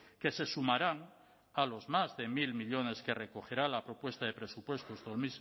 que se sumarán a los más de mil millónes que recogerá la propuesta de presupuestos